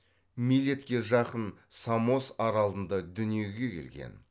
милетке жақын самос аралында дүниеге келген